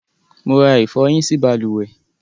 Mo ra ìfọhí sí balùwẹ́